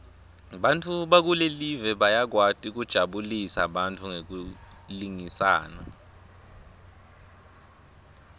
bantfu bakulelive bayakwati kujabulisa bantfu ngekulingisana